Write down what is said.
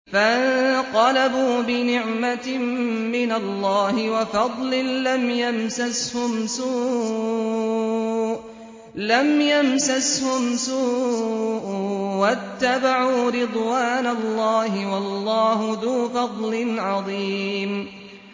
فَانقَلَبُوا بِنِعْمَةٍ مِّنَ اللَّهِ وَفَضْلٍ لَّمْ يَمْسَسْهُمْ سُوءٌ وَاتَّبَعُوا رِضْوَانَ اللَّهِ ۗ وَاللَّهُ ذُو فَضْلٍ عَظِيمٍ